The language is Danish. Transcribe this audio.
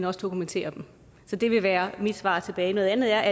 også dokumenterer dem så det vil være mit svar tilbage noget andet er